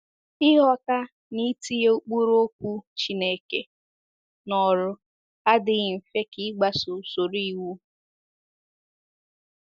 Ịghọta na itinye ụkpụrụ Okwu Chineke n’ọrụ adịghị mfe ka ịgbaso usoro iwu.